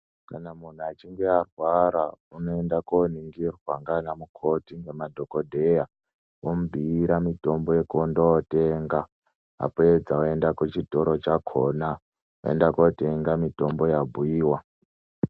Kana munthu achinge arwara, unoenda kooningirwa, ngaanamukoti nemadhokodheya, omubhuira mitombo yekundootenga, apedza oenda kuchitoro chakhona, oenda kootenga mitombo yabhuiwa.